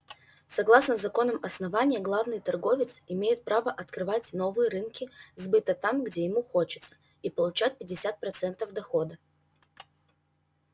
согласно законам основания главный торговец имеет право открывать новые рынки сбыта там где ему хочется и получать пятьдесят процентов дохода